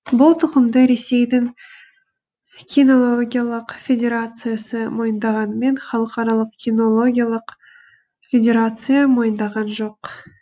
бұл тұқымды ресейдің кинологиялық федерациясы мойындағанымен халықаралық кинологиялық федерация мойындаған жоқ